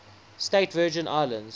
states virgin islands